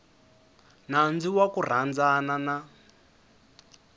nandzu wa ku rhandzana na